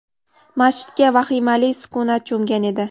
masjidga vahimali sukunat cho‘mgan edi.